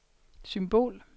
symbol